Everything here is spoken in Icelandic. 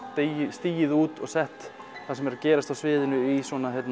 stigið út og sett það sem er að gerast á sviðinu í